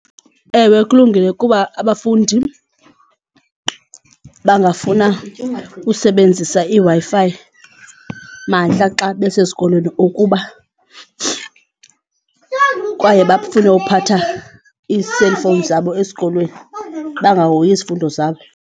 Ewe kulungile kuba abafundi bangafuna usebenzisa iWi-Fi mahla xa besesikolweni ngokuba kwaye bafune ukuphatha ii-cellphone zabo esikolweni bangahoyi izifundo zabo.